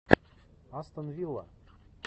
астон вилла